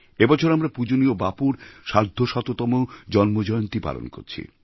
এবছর আমরা পূজনীয় বাপুর সার্ধশততম জন্মজয়ন্তী পালন করছি